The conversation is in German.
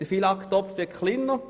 Der FILAG-Topf wird kleiner.